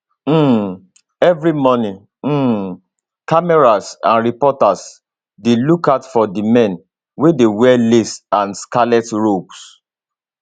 um evri morning um cameras and reporters dey lookout for di men wey dey wear lace and scarlet robes